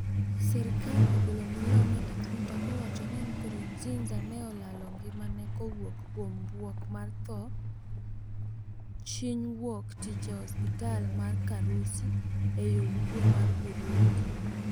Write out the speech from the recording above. Serikal ogolo milome e twitter kowacho ni Nkurunziza ne olalo ngimane kowuok kuom buok mar dho chiny wuok tich e osiptal mar Karusi e yo ugwe mar Burundi